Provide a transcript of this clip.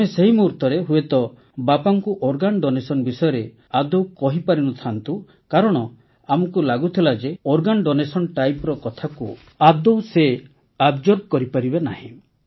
ଆମେ ସେହି ମୁହୂର୍ତରେ ହୁଏତ ବାପାଙ୍କୁ ଅଙ୍ଗଦାନ ବିଷୟରେ ଆଦୌ କହିପାରି ନ ଥାନ୍ତୁ କାରଣ ଆମକୁ ଲାଗୁଥିଲା ଯେ ଅଙ୍ଗଦାନ କଥାକୁ ଆଦୌ ସେ ଗ୍ରହଣ କରିପାରିବେ ନାହିଁ